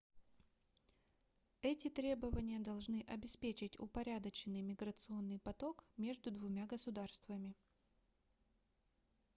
эти требования должны обеспечить упорядоченный миграционный поток между двумя государствами